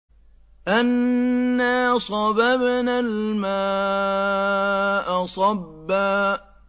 أَنَّا صَبَبْنَا الْمَاءَ صَبًّا